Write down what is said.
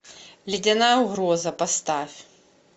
ледяная угроза поставь